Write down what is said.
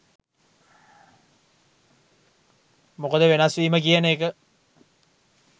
මොකද වෙනස්වීම කියන එක